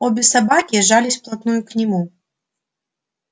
обе собаки жались вплотную к нему